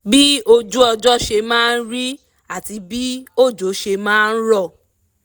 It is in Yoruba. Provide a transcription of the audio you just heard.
bí ojú ọjọ́ ṣe máa rí àti bí òjò ṣe máa rọ̀